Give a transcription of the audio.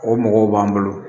O mɔgɔw b'an bolo